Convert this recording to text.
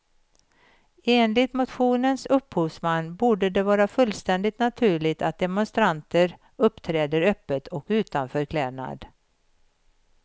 Enligt motionens upphovsman borde det vara fullständigt naturligt att demonstranter uppträder öppet och utan förklädnad.